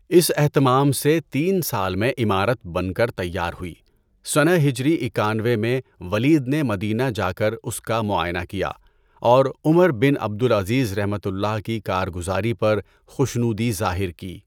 اس اہتمام سے تین سال میں عمارت بن کر تیار ہوئی۔ سنہ ہجری اکانوے میں ولید نے مدینہ جا کر اس کا معائنہ کیا اور عمر بن عبد العزیزؒ کی کارگزاری پر خوشنودی ظاہر کی۔